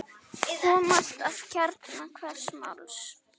Komast að kjarna hvers máls.